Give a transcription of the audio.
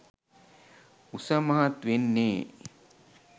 උස මහත් වෙන්නේ